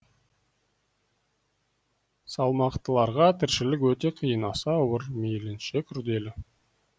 салмақтыларға тіршілік өте қиын аса ауыр мейлінше күрделі